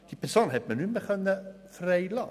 Diese Person konnte man nicht mehr freilassen.